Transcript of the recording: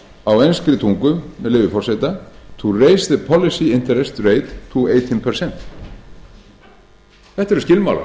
á enskri tungu með leyfi forseta to raise the policy interest til átján prósent þetta eru skilmálar